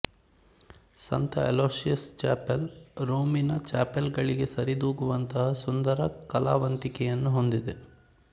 ಸಂತ Aloysius chapel ರೋಮಿನ chapel ಗಳಿಗೆ ಸರಿದೂಗುವಂತಹ ಸುಂದರ ಕಲಾವಂತಿಕೆಯನ್ನು ಹೊಂದಿದೆ